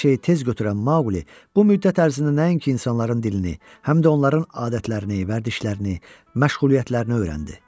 Hər şeyi tez götürən Maquli bu müddət ərzində nəinki insanların dilini, həm də onların adətlərini, vərdişlərini, məşğuliyyətlərini öyrəndi.